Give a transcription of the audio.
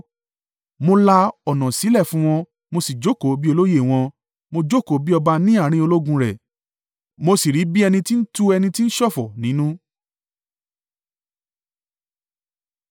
Mo la ọ̀nà sílẹ̀ fún wọn, mo sì jókòó bí olóyè wọn. Mo jókòó bí ọba ní àárín ológun rẹ, mo sì rí bí ẹni tí ń tu ẹni tí ń ṣọ̀fọ̀ nínú.